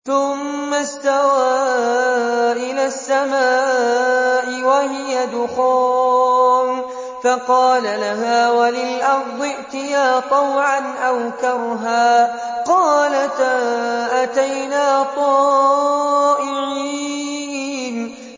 ثُمَّ اسْتَوَىٰ إِلَى السَّمَاءِ وَهِيَ دُخَانٌ فَقَالَ لَهَا وَلِلْأَرْضِ ائْتِيَا طَوْعًا أَوْ كَرْهًا قَالَتَا أَتَيْنَا طَائِعِينَ